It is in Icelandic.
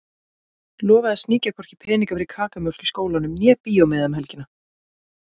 Lofaði að sníkja hvorki peninga fyrir kakómjólk í skólanum né bíómiða um helgina.